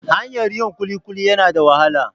Hanyar yin kulikuli yana da wahala.